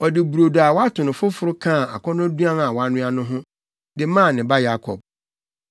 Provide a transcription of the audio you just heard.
Ɔde brodo a wato no foforo kaa akɔnnɔduan a wanoa no ho, de maa ne ba Yakob.